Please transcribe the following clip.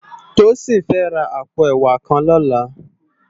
Tosin fè rá àpó èwá kàn lòlá